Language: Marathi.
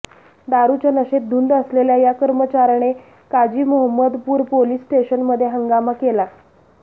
दारुच्या नशेत धुंद असलेल्या या कर्मचाऱ्याने काजीमोहम्मदपूर पोलीस स्टेशनमध्ये हंगामा केला